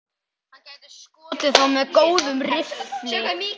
Hann gæti skotið þá með góðum riffli.